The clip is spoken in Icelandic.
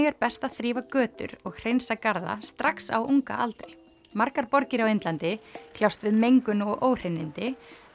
er best að þrífa götur og hreinsa garða strax á ungaaldri margar borgir á Indlandi kljást við mengun og óhreinindi